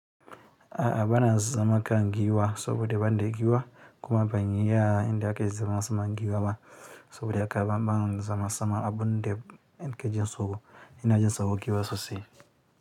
A a bana zama kan giwa sobo da banida giwa kuma ban iyi yanda ake zama saman giwa ba saboda haka banza sama abunde kake jin tsoro ina jin tsoron giwa sosai.